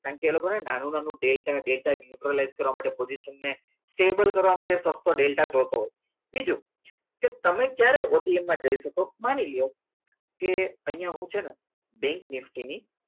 કારણકે એ લોકોને નાનું નાનું ડેલ્ટા ડેલ્ટા ઇન્ટરનેટ કરવાનો position stable કરવા માટે ડેટા જોઈતો હોય બીજું કે તમે જ્યારે OTM માં જઈ શકો માની લો કે અહીંયા હું છે ને બેંકની ફીની નીકતી નિફ્ટી